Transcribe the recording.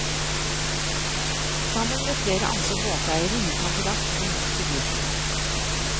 Sammen med flere andre båteiere gikk han til aksjon mot syklistene.